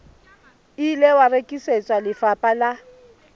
ile wa rekisetswa lefapha la